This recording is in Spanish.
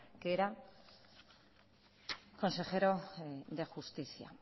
que era consejero de justicia